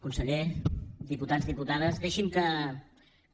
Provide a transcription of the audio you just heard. conseller diputats diputades deixin me que